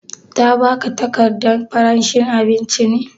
Ta ba ka takardan faranshi abincin ne?